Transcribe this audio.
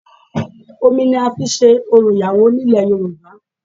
Omi ni a fi n se orò ìyàwó ní ilẹ̀ Yorùbá